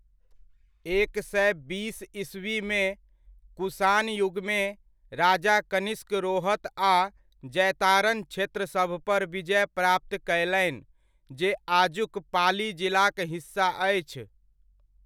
एक सए बीस ईस्वीमे, कुषाण युगमे, राजा कनिष्क रोहत आ जैतारन क्षेत्र सभपर विजय प्राप्त कयलनि, जे आजुक पाली जिलाक हिस्सा अछि।